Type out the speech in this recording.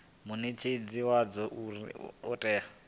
munetshedzi wadzo uri hu itwe